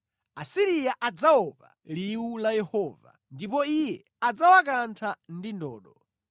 Asiriya adzaopa liwu la Yehova, ndipo Iye adzawakantha ndi ndodo.